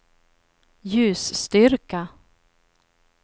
ljusstyrka